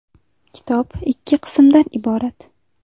Kitob ikki qismdan iborat.